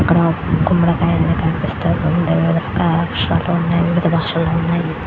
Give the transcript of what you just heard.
ఇక్కడ కుమ్మడ కై కనిపిస్తుంది ఇక్కడ వివిధ షాప్స్ ఉన్నాయి --